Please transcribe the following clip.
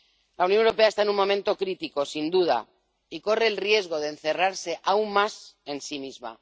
La Unión Europea está en un momento crítico, sin duda, y corre el riesgo de encerrarse aún más en sí misma.